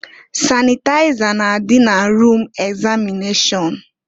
Sanịtaịza na-adị na rum egzamịnashọn.